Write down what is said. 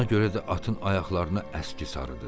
Ona görə də atın ayaqlarına əski sarıdı.